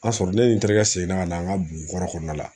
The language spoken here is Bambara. A sɔrɔ ne ni n terikɛ sen na ka na an ka bugu kɔnɔna la